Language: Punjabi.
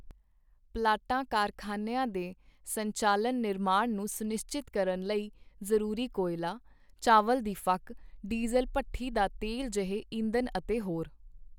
ਪਲਾਂਟਾਂ ਕਾਰਖਾਨਿਆਂ ਦੇ ਸੰਚਾਲਨ ਨਿਰਮਾਣ ਨੂੰ ਸੁਨਿਸ਼ਚਿਤ ਕਰਨ ਲਈ ਜ਼ਰੂਰੀ ਕੋਇਲਾ, ਚਾਵਲ ਦੀ ਫੱਕ, ਡੀਜ਼ਲ ਭੱਠੀ ਦਾ ਤੇਲ ਜਿਹੇ ਈਂਧਣ ਅਤੇ ਹੋਰ।